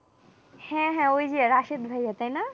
হ্যাঁ, হ্যাঁ ওই যে রাশীদ ভাইয়া তাই না?